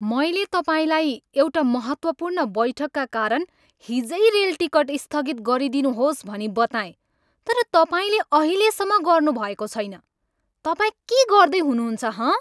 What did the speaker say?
मैले तपाईँलाई एउटा महत्त्वपूर्ण बैठकका कारण हिजै रेल टिकट स्थगित गरिदिनुहोस् भनी बताएँ तर तपाईँले अहिलेसम्म गर्नुभएको छैन, तपाईँ के गर्दै हुनुहुन्छ हँ?